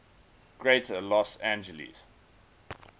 greater los angeles